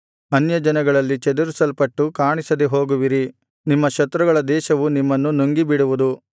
ಅನ್ಯಜನಗಳಲ್ಲಿ ಚದರಿಸಲ್ಪಟ್ಟು ಕಾಣಿಸದೆ ಹೋಗುವಿರಿ ನಿಮ್ಮ ಶತ್ರುಗಳ ದೇಶವು ನಿಮ್ಮನ್ನು ನುಂಗಿಬಿಡುವುದು